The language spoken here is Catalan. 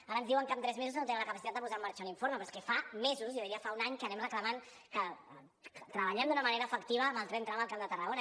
ara ens diuen que amb tres mesos no tenen la capacitat de posar en marxa l’informe però és que fa mesos jo diria que fa un any que anem reclamant que treballem d’una manera efectiva en el tren tram al camp de tarragona